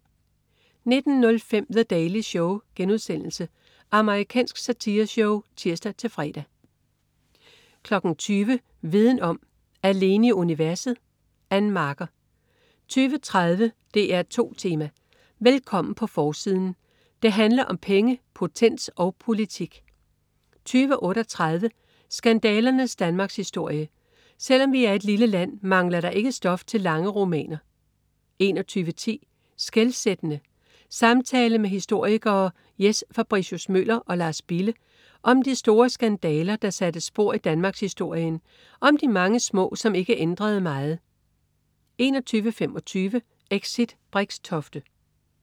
19.05 The Daily Show.* Amerikansk satireshow (tirs-fre) 20.00 Viden om: Alene i universet? Ann Marker 20.30 DR2 Tema: Velkommen på forsiden! Det handler om penge, potens og politik 20.38 Skandalernes Danmarkshistorie. Selv om vi er et lille land, mangler der ikke stof til lange romaner 21.10 Skelsættende. Samtale med historikere Jes Fabricius Møller og Lars Bille om de store skandaler, der satte spor i Danmarkshistorien. Og om de mange små, som ikke ændrede meget 21.25 Exit Brixtofte